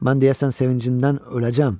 Mən deyəsən sevincindən öləcəm.